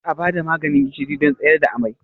Kar a ba da maganin gishiri don tsayar da amai!